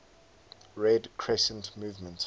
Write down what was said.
red crescent movement